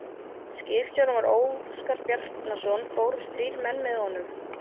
Skipstjóri var Óskar Bjarnason og fórust þrír menn með honum.